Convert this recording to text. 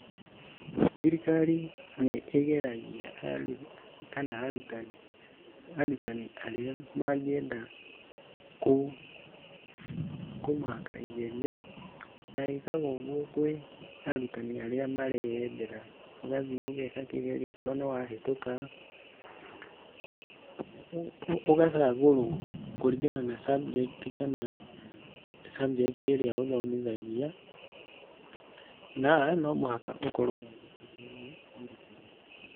Thirikari nĩ ĩgeragia kana arutani aria mangĩenda kũmaka igerio na ĩkaga ũguo kũrĩ arutani aria mareyendera, ũgathiĩ ũgeka kĩgerio okorwo nĩ wahĩtũka ũgacagũrwo kũringana na subject ĩrĩa ũthomĩthagia na no mũhaka ukorwo wandĩkĩtwo nĩ thirikari.